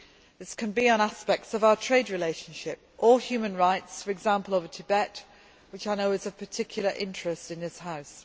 This can be on aspects of our trade relationship or human rights for example over Tibet, which I know is of particular interest in this House.